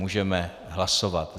Můžeme hlasovat.